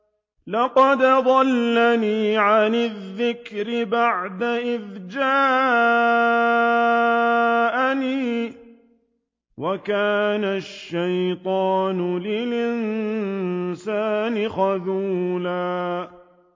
لَّقَدْ أَضَلَّنِي عَنِ الذِّكْرِ بَعْدَ إِذْ جَاءَنِي ۗ وَكَانَ الشَّيْطَانُ لِلْإِنسَانِ خَذُولًا